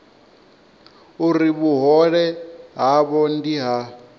uri vhuhole havho ndi ha